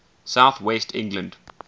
south west england